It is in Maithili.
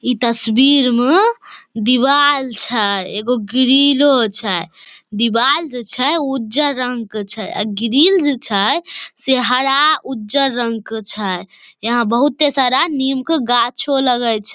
इ तस्वीर में दीवाल छै एगो ग्रिलों छै दीवार ते छै उजर रंग के छै अ ग्रिल जेई छै से हरा उजर रंग के छै यहां बहुते सारा नीम के गाछो लगे छै।